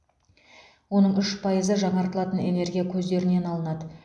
оның үш пайызы жаңартылатын энергия көздерінен алынады